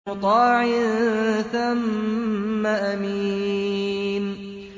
مُّطَاعٍ ثَمَّ أَمِينٍ